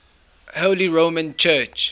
holy roman church